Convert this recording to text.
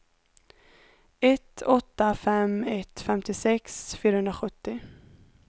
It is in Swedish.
ett åtta fem ett femtiosex fyrahundrasjuttio